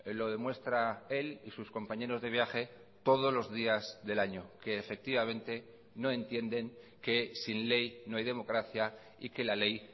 lo demuestra él y sus compañeros de viaje todos los días del año que efectivamente no entienden que sin ley no hay democracia y que la ley